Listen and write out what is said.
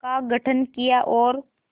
का गठन किया और